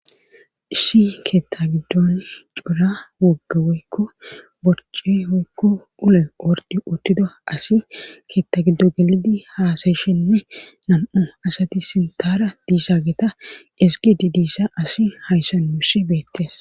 Issi keeththa giddon coora wogga woykko borce woykko ulo orddi uttida asi keeththa giddo gelidi haasayishenne nam'u asati sinthara diishageta eziggidi diisha asi hayssa nusi beettes.